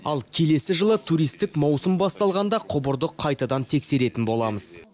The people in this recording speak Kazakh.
ал келесі жылы туристік маусым басталғанда құбырды қайтадан тексеретін боламыз